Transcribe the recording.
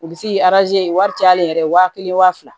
U bi se k'i wari caya ale yɛrɛ ye waa kelen waa fila